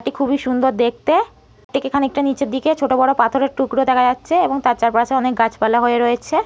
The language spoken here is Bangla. এটি খুবই সুন্দর দেখতে ঠিক এখানে একটু নিচের দিকে ছোট বড় পাথরের টুকরো দেখা যাচ্ছে। এবং তার চারপাশে অনেক গাছপালা হয়ে রয়েছে।